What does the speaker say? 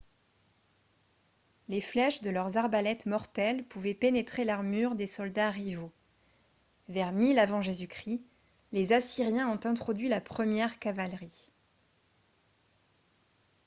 les flèches de leurs arbalètes mortelles pouvaient pénétrer l'armure des soldats rivaux. vers 1000 avant j.-c. les assyriens ont introduit la première cavalerie